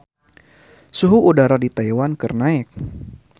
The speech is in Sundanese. Suhu udara di Taiwan keur naek